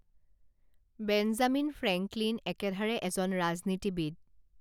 Benjamin Franklin একেধাৰে এজন ৰাজনীতিবিদ